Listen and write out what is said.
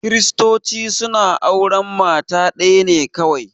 Kiristoci suna auran mata ɗaya ne kawai